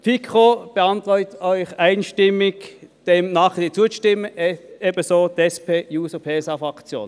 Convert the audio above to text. Die FiKo beantragt Ihnen einstimmig, diesem Nachkredit zuzustimmen, ebenso die SP-JUSO-PSA-Fraktion.